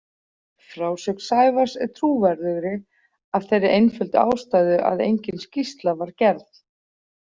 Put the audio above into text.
Frásögn Sævars er trúverðugri af þeirri einföldu ástæðu að engin skýrsla var gerð.